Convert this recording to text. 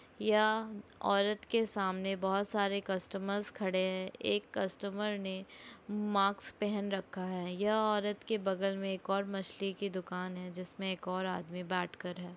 यह औरत के सामने बहोत सारे कस्टमर खड़े है| एक कस्टमर ने मास्क पहन रखा है यह औरत के बगल में एक और मछली की दूकान है जिसमे एक और आदमी बाट कर रहा है।